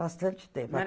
Bastante tempo.